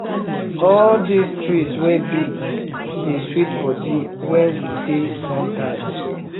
all dese tree wey big dey sweet body when we dey sun time